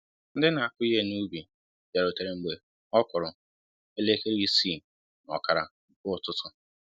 Ndị na akụ Ihe n'ubi biarutere mgbe ọkụrụ elekere isii na ọkara nke ụtụtụ